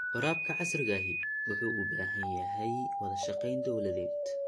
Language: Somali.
Waraabka casriga ahi waxa uu u baahan yahay wada shaqayn dawladeed.